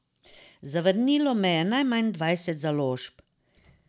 Zavrnilo me je najmanj dvajset založb.